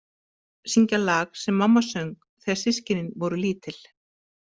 Syngja lag sem mamma söng þegar systkinin voru lítil.